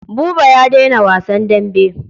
Buba ya daina wasan dambe.